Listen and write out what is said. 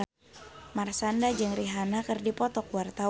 Marshanda jeung Rihanna keur dipoto ku wartawan